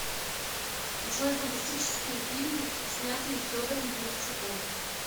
джой фантастические фильмы снятые федором бондарчуком